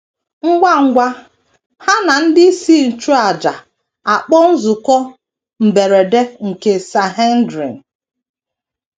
Ngwa ngwa, ha na ndị isi nchụàjà akpọọ nzukọ mberede nke Sanhedrin.